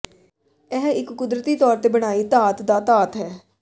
ਇਹ ਇਕ ਕੁਦਰਤੀ ਤੌਰ ਤੇ ਬਣਾਈ ਧਾਤ ਦਾ ਧਾਤ ਹੈ